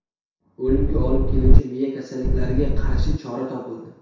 O‘limga olib keluvchi miya kasalliklariga qarshi chora topildi.